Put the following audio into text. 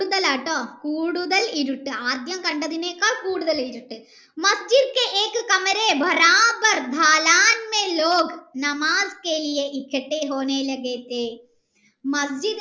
കൂടുതലാട്ടോ കൂടുതൽ ഇരുട്ട് ആദ്യം കണ്ടതിനേക്കാൾ കൂടുതൽ ഇരുട്ട് ണ്